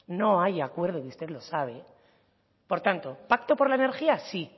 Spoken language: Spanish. no hay acuerdo y usted lo sabe por tanto pacto por la energía sí